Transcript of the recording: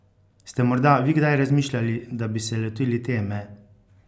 Ste morda vi kdaj razmišljali, da bi se lotili teme?